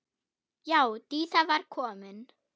Já, Dísa var komin.